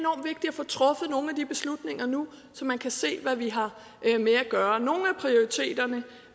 få truffet nogle af de beslutninger nu så man kan se hvad vi har med at gøre nogle